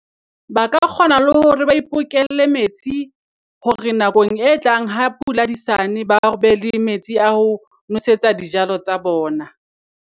Ba ka kgona le hore ba ipokelle metsi hore nakong e tlang ha pula di sa ne, ba be le metsi a ho nosetsa dijalo tsa bona.